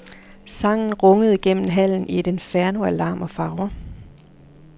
Sangen rungede gennem hallen i et inferno af larm og farver.